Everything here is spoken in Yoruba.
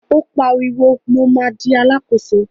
Ó pariwo, mo ma di Alákóso!